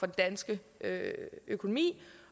danske økonomi